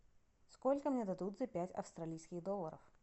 сколько мне дадут за пять австралийских долларов